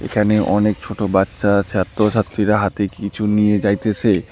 এখানে অনেক ছোট বাচ্চা ছাত্রছাত্রীরা হাতে কিছু নিয়ে যাইতেসে।